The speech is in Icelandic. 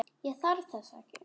Ég þarf þess ekki.